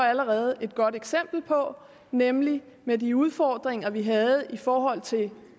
allerede et godt eksempel på nemlig med de udfordringer vi havde i forhold til